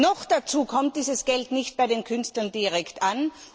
Noch dazu kommt dieses Geld nicht bei den Künstlern direkt an.